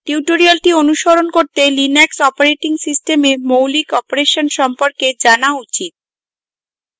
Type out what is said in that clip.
tutorial অনুসরণ করতে linux operating system মৌলিক অপারেশন সম্পর্কে জানা উচিত